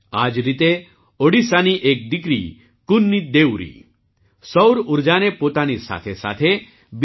આ જ રીતે ઓડિશાની એક દીકરી કુન્ની દેઉરી સૌર ઊર્જાને પોતાની સાથેસાથે બીજી